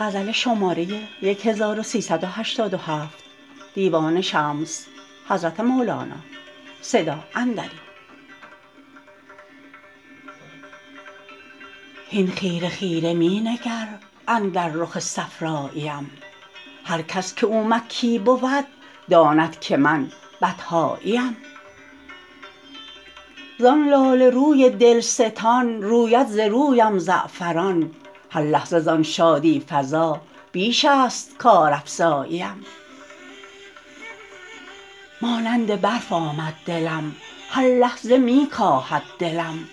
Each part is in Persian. هین خیره خیره می نگر اندر رخ صفراییم هر کس که او مکی بود داند که من بطحاییم زان لاله روی دلستان روید ز رویم زعفران هر لحظه زان شادی فزا بیش است کارافزاییم مانند برف آمد دلم هر لحظه می کاهد دلم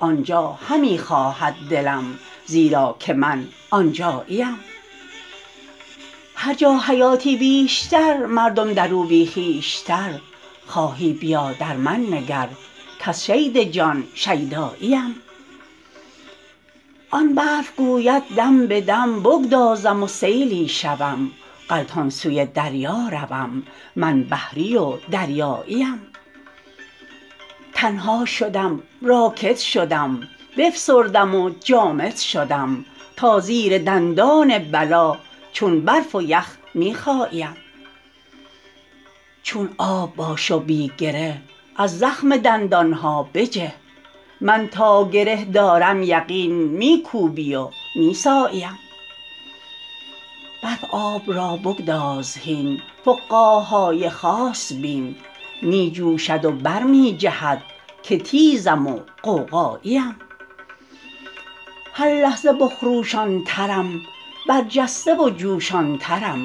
آن جا همی خواهد دلم زیرا که من آن جاییم هر جا حیاتی بیشتر مردم در او بی خویشتر خواهی بیا در من نگر کز شید جان شیداییم آن برف گوید دم به دم بگدازم و سیلی شوم غلطان سوی دریا روم من بحری و دریاییم تنها شدم راکد شدم بفسردم و جامد شدم تا زیر دندان بلا چون برف و یخ می خاییم چون آب باش و بی گره از زخم دندان ها بجه من تا گره دارم یقین می کوبی و می ساییم برف آب را بگذار هین فقاع های خاص بین می جوشد و بر می جهد که تیزم و غوغاییم هر لحظه بخروشان ترم برجسته و جوشان ترم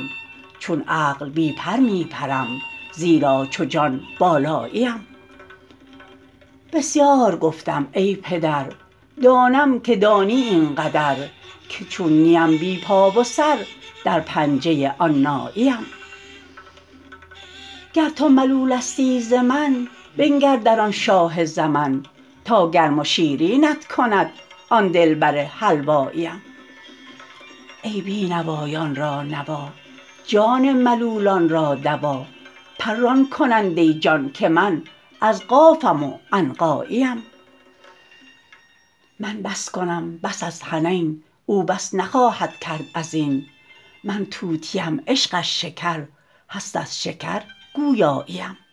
چون عقل بی پر می پرم زیرا چو جان بالاییم بسیار گفتم ای پدر دانم که دانی این قدر که چون نیم بی پا و سر در پنجه آن ناییم گر تو ملولستی ز من بنگر در آن شاه زمن تا گرم و شیرینت کند آن دلبر حلواییم ای بی نوایان را نوا جان ملولان را دوا پران کننده جان که من از قافم و عنقاییم من بس کنم بس از حنین او بس نخواهد کرد از این من طوطیم عشقش شکر هست از شکر گویاییم